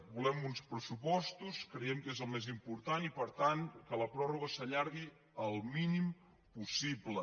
volem uns pressupostos creiem que és el més important i per tant que la pròrroga s’allargui al mínim possible